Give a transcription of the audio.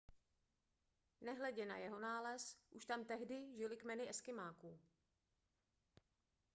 nehledě na jeho nález už tam tehdy žily kmeny eskymáků